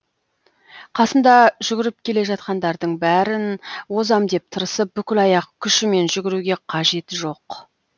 қасында жүгіріп келе жатқандардың бәрін озам деп тырысып бүкіл аяқ күшімен жүгіруге қажеті жоқ